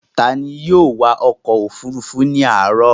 Ta ni yóò wa ọkọ̀-òfurufú ní àárọ̀?